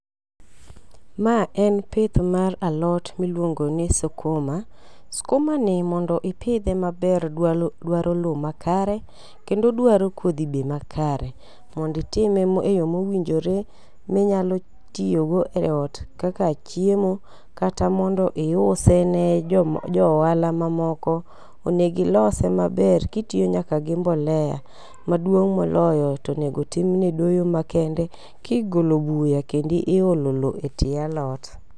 Ma en pith mar alot miluongo ni sukuma. Skumani mondo mi ipidhe, odwaro lowo makare, kendo dwaro kodhi be makare. Mondo itime eyo mowinjore minyalo tiyo e ot kaka chiemo kata mondo iuse ne joma jo ohala mamoko onego ilose maber kitiyo nyaka gi mbolea. Maduong' moloyo to onego timne doyo makende ka igolo buya kendo ka iolo lowo e tie alot.